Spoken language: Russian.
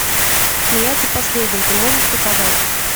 смеяться последним ты можешь показать